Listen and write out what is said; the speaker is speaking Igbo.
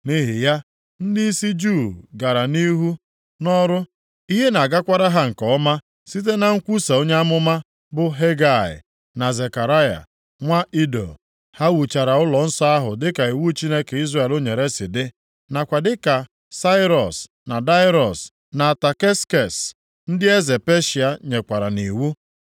Nʼihi ya, ndịisi Juu gara nʼihu nʼọrụ, ihe na-agakwara ha nke ọma site na nkwusa onye amụma, bụ Hegai, na Zekaraya, nwa Ido. Ha wuchara ụlọnsọ ahụ dịka iwu Chineke Izrel nyere si dị, nakwa dịka Sairọs, na Daraiọs, na Ataksekses, ndị eze Peshịa, nyekwara nʼiwu.